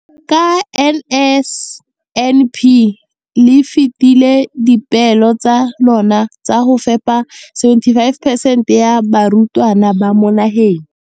Ka NSNP le fetile dipeelo tsa lona tsa go fepa 75 percent ya barutwana ba mo nageng.